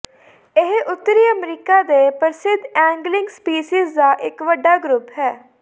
ਇਹ ਉੱਤਰੀ ਅਮਰੀਕਾ ਦੇ ਪ੍ਰਸਿੱਧ ਐਂਗਲਿੰਗ ਸਪੀਸੀਜ਼ ਦਾ ਇੱਕ ਵੱਡਾ ਗਰੁੱਪ ਹੈ